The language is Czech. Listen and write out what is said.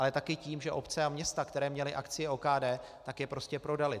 Ale taky tím, že obce a města, které měly akcie OKD, tak je prostě prodaly.